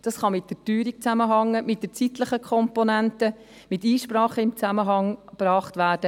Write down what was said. Dies kann mit der Teuerung zusammenhängen, mit der zeitlichen Komponente, mit Einsprachen im Zusammenhang gebracht werden.